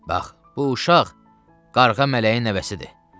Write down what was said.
Bax, bu uşaq qarğa mələyin nəvəsidir.